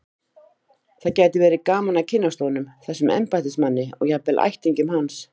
Það gæti verið gaman að kynnast honum, þessum embættismanni, og jafnvel ættingjum hans.